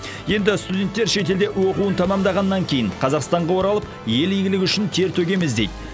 енді студенттер шетелде оқуын тәмамдағаннан кейін қазақстанға оралып ел игілігі үшін тер төгеміз дейді